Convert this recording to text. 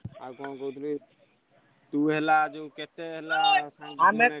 ଆଉ କଣ କହୁଥିଲି ତୁ ହେଲାଯୋଉ କେତେ ହେଲା।